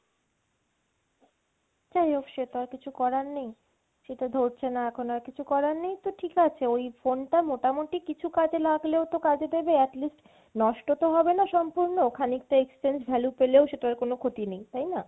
যাইহোক সেতো আর কিছু করার নেই, সেটা ধরছেনা এখন আর কিছু করার নেই তো ঠিক আছে ওই phone টা মোটামটি কিছু কাজে লাগলেও তো কাজে দেবে at least নষ্ট তো হবেনা সম্পূর্ণ, খানিকটা exchange value পেলেও সেটার কোনো ক্ষতি নেই তাইনা?